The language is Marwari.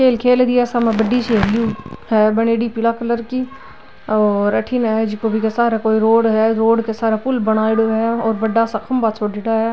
खेल खेल री है सामे बड़ी सी हेली है बनेड़ी पीला कलर की और अठीने जिको बि के सारा कोई रोड है रोड के सार पुल बनायेडो है और बड़ा सा खम्भा छोड़ेडा है।